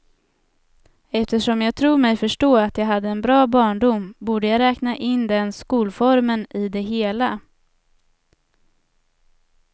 Eftersom jag tror mig förstå att jag hade en bra barndom, borde jag räkna in den skolformen i det hela.